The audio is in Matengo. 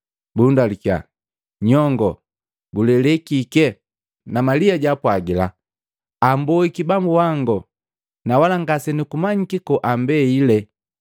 Bundalukiya, “Nyongoo gulele kike?” Na Malia jaapwagila “Amboiki Bambu wango na wala ngasenukumanyiki koambeile!”